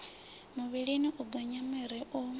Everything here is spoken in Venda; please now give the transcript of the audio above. muvhilini u gonya miri u